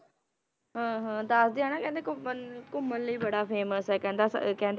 ਹਾਂ ਹਾਂ ਦੱਸਦੇ ਆ ਨਾ ਕਹਿੰਦੇ ਘੁੰਮਣ ਘੁੰਮਣ ਲਈ ਬੜਾ famous ਆ ਕਹਿੰਦਾ ਅਹ ਕਹਿੰਦੇ,